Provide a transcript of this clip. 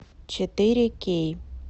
четыре кей